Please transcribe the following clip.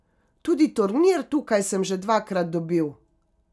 Tudi turnir tukaj sem že dvakrat dobil.